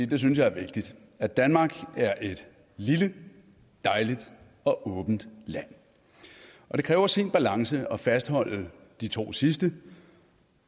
det synes jeg er vigtigt at danmark er et lille dejligt og åbent land og det kræver sin balance at fastholde de to sidste